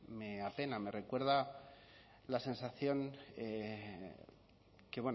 me apena me recuerda la sensación que